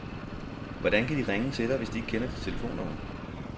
Hvordan kan de ringe til dig, hvis de ikke kender dit telefonnummer?